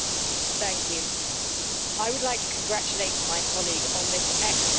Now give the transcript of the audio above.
Mr President, I would like to congratulate my colleague on this excellent report.